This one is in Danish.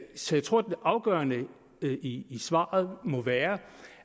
så jeg tror det afgørende i svaret må være